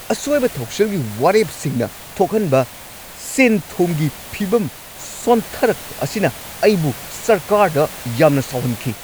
ꯑꯁꯣꯏꯕ ꯊꯧꯁꯤꯜꯒꯤ ꯋꯥꯔꯦꯞꯁꯤꯡꯅ ꯊꯣꯛꯍꯟꯕ ꯁꯦꯟꯊꯨꯝꯒꯤ ꯐꯤꯕꯝ ꯁꯣꯟꯊꯔꯛꯄ ꯑꯁꯤꯅ ꯑꯩꯕꯨ ꯁꯔꯀꯥꯔꯗ ꯌꯥꯝꯅ ꯁꯥꯎꯍꯟꯈꯤ꯫